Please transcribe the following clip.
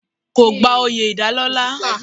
Kò gba oyè ìdálọ́lá.